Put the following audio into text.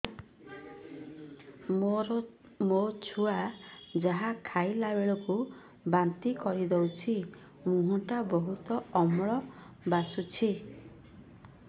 ମୋ ଛୁଆ ଯାହା ଖାଇଲା ବେଳକୁ ବାନ୍ତି କରିଦଉଛି ମୁହଁ ଟା ବହୁତ ଅମ୍ଳ ବାସୁଛି